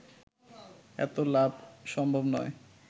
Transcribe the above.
এত লাভ সম্ভব নয়